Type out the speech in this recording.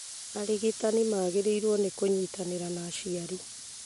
Arigitani magĩrĩirũo nĩ kũnyitanĩra na aciari